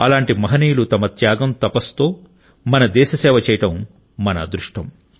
అలాంటి మహనీయులు తమ త్యాగం తపస్సుతో మన దేశసేవ చేయడం మన అదృష్టం